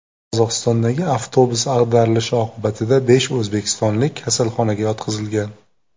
Qozog‘istondagi avtobus ag‘darilishi oqibatida besh o‘zbekistonlik kasalxonaga yotqizilgan.